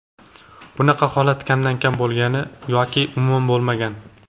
Bunaqa holat kamdan-kam bo‘lgan yoki umuman bo‘lmagan.